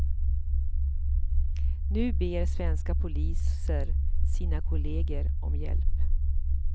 Nu ber svenska poliser sina kolleger om hjälp.